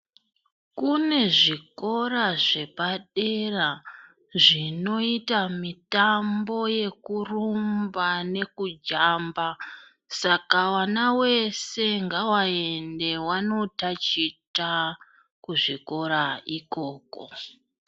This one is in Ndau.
Kune zvikora zvepadera zvinoita mitambo yekurumba nekujamba. Saka vana vese ngavaende vanotaticha kuzvikora ikoko.